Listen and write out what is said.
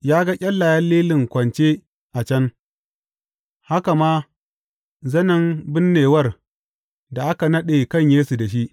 Ya ga ƙyallayen lilin kwance a can, haka ma zanen binnewar da aka naɗe kan Yesu da shi.